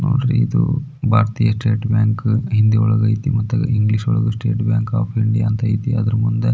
ನೋಡಿರಿ ಇದು ಭಾರತೀಯ ಸ್ಟೇಟ್ ಬ್ಯಾಂಕು ಹಿಂದಿಯೋಳಗೆ ಐತೆ ಮತ್ತೆ ಇಂಗ್ಲೀಷೋ ಳಗೆ ಸ್ಟೇಟ್ ಬ್ಯಾಂಕ್ ಆಫ್ ಇಂಡಿಯಾ ಅಂತ ಐತೆ ಅದರ ಮುಂದೆ --